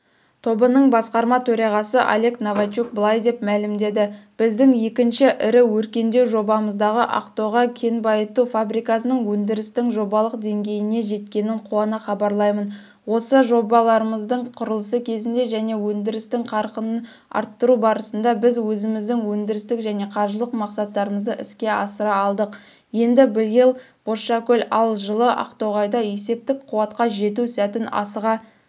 тобыныңбасқарматөрағасыолегновачукбылайдепмәлімдеді біздіңекіншіірі өркендеужобамыздағыақтоғайкенбайытуфабрикасыныңөндірістіңжобалықдеңгейінежеткенін қуанахабарлаймын осыжобаларамыздыңқұрылысыкезіндежәнеөндірісқарқынынарттыру барысындабізөзіміздіңөндірістікжәнеқаржылықмақсаттарымыздыіскеасыраалдық ендібиыл бозшакөлде ал жылы ақтоғайда есептік қуатқа жету сәтін асыға